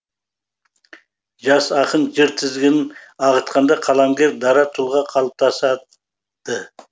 жас ақын жыр тізгінін ағытқанда қаламгер дара тұлға қалыптасады